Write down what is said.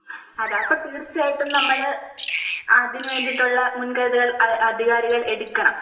അതെ അപ്പൊ തീർച്ചയായിട്ടും നമ്മൾ അതിനു വേണ്ടിട്ടുള്ള മുൻകരുതലുകൾ അധികാരികൾ എടുക്കണം